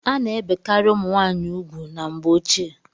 A na-ebekarị ụmụ nwaanyị ugwu na mgbe ochie.